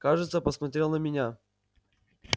кажется посмотрел на меня